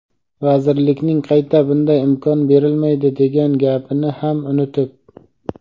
vazirlikning qayta bunday imkon berilmaydi degan gapini ham unutib.